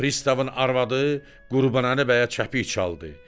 Pristavın arvadı Qurbanəli bəyə çəpik çaldı.